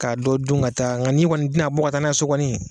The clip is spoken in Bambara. K'a dɔ dun ka taa nka ni kɔni tɛ na bɔ ka taa n'a ye so kɔni.